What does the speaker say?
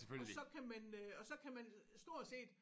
Og så kan man øh og så kan man stort set